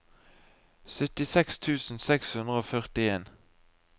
syttiseks tusen seks hundre og førtien